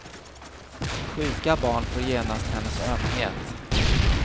Sjuka barn får genast hennes ömhet.